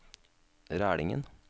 Rælingen